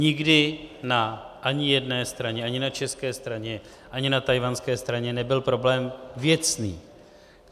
Nikdy na ani jedné straně, ani na české straně, ani na tchajwanské straně, nebyl problém věcný.